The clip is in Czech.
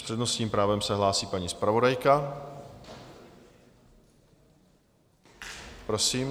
S přednostním právem se hlásí paní zpravodajka, prosím.